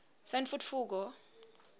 sentfutfuko